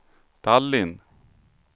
Tallinn